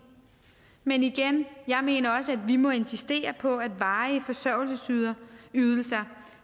men igen jeg mener også at vi må insistere på at varige forsørgelsesydelser